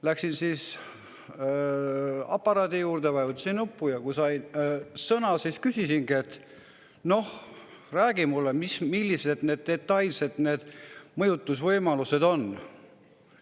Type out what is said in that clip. Läksin aparaadi juurde, vajutasin nuppu ja kui sain sõna, siis ütlesingi, et räägi mulle, millised need detailsed mõjutusvõimalused on.